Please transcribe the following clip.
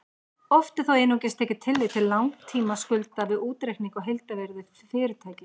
Oft er þó einungis tekið tillit til langtímaskulda við útreikning á heildarvirði fyrirtækis.